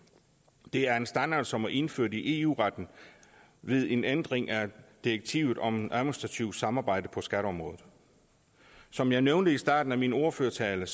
det er en standard som er indført i eu retten ved en ændring af direktivet om administrativt samarbejde på skatteområdet som jeg nævnte i starten af min ordførertale